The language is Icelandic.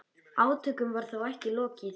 Átökum var þó ekki lokið.